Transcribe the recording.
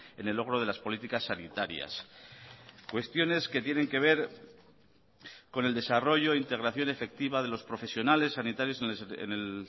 en el logro de las políticas sanitarias cuestiones que tienen que ver con el desarrollo integración efectiva de los profesionales sanitarios en el